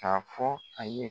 K'a fɔ a ye